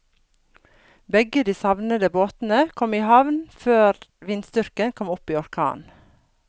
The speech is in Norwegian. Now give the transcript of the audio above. Begge de savnede båtene kom i havn før vindstyrken kom opp i orkan.